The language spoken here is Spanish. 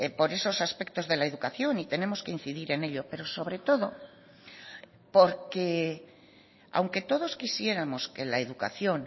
por esos aspectos de la educación y tenemos que incidir en ello pero sobre todo porque aunque todos quisiéramos que la educación